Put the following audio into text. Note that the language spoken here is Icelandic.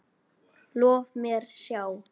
Lof mér sjá